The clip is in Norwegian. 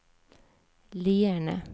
Lierne